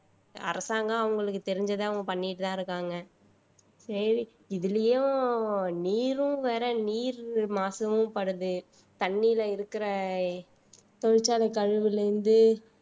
அரசாங்கம் அவங்களுக்கு தெரிஞ்சதை அவங்க பண்ணிட்டுதான் இருக்காங்க சரி இதுலயும் நீரும் வேற நீர் மாசுமும் படுது தண்ணியில இருக்கிற தொழிற்சாலை கழிவுல இருந்து